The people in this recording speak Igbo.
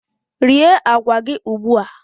Rie agwa gị ugbu a!